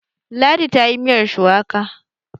Ladi ta yi miyar shuwaka